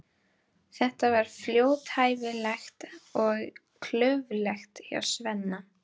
Þetta var fljótfærnislegt og klaufalegt hjá Svenna.